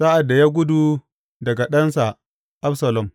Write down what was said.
Sa’ad da ya gudu daga ɗansa Absalom.